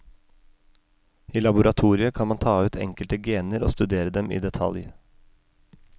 I laboratoriet kan man ta ut enkelte gener og studere dem i detalj.